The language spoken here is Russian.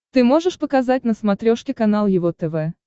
ты можешь показать на смотрешке канал его тв